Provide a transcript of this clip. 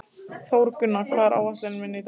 Þórgunna, hvað er á áætluninni minni í dag?